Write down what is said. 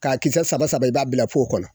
K'a kisɛ saba saba i b'a bila kɔnɔ